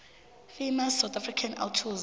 famous south african authors